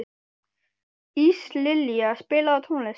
Íslilja, spilaðu tónlist.